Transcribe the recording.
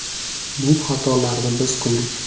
Bu xatolarni biz qildik.